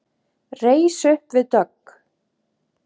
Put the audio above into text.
Reis upp við dogg.